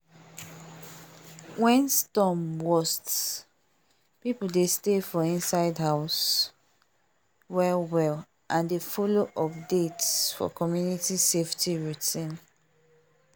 when storm worst people dey stay for inside house well well and they follow update for community safety routine